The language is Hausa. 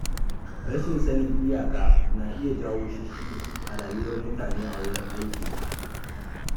Rashin sanin iyaka na iya jawo shisshigi a rayuwar mutane a wurin aiki.